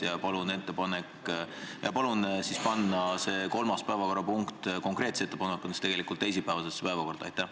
Teen konkreetse ettepaneku panna kolmas päevakorrapunkt teisipäevasesse päevakorda.